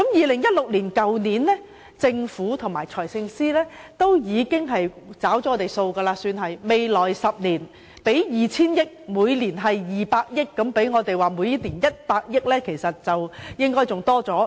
去年，政府和財政司司長在醫療方面已算是"找了數"，表示會在未來10年撥出 2,000 億元，即每年200億元，這比起我們要求的每年100億元還要多。